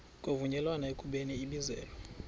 kwavunyelwana ekubeni ibizelwe